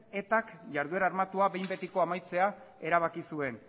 etak jarduera armatua behin betiko amaitzea erabaki zuen